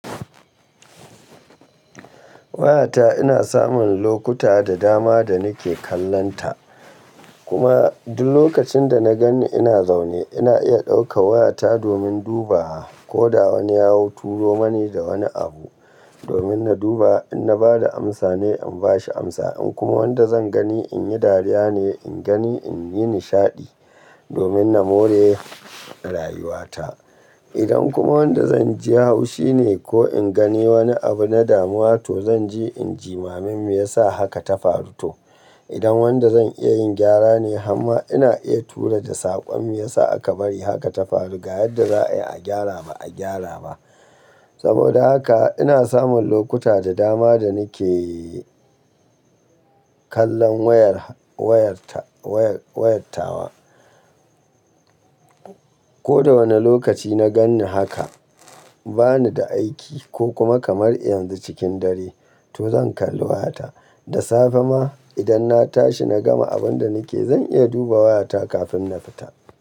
Wayata ina samun lokuta da dama da nake kallonta. Kuma duk lokacin da na gan ni ina zaune, ina iya ɗauka wayata domin duba ko da wani ya hau turo mani da wani abu domin na duba. In na bada amsa ne in bashi amsa, in kuma wanda zan gani in yi dariya ne, in gani in yi nishaɗi domin na more rayuwata. Idan kuma wanda zan ji haushi ne ko in gani wani abu na damuwa to zan ji in jimamin me yasa haka ta faru toh. Idan wanda zan iya yin gyara ne, amma ina iya tura da saƙon me yasa aka bari haka ta faru ga yadda za'a yi a gyara ba a gyara ba. Saboda haka ina samun lokuta da dama da nake kallon wayar-wayarta-wayar-wayartawa. Ko da wane lokaci na gan ni haka, ba ni da aiki ko kuma kamar yanzu cikin dare to zan kalli wayata. Da safe ma idan na tashi na gama abin da nake, zan iya duba wayata kafin na fita.